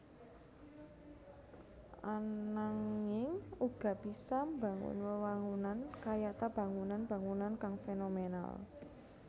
Ananging uga bisa mbangun wewangunan kayata bangunan bangunan kang fénomènal